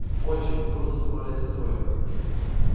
очень дружно соврали все трое